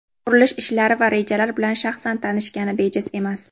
qurilish ishlari va rejalar bilan shaxsan tanishgani bejiz emas.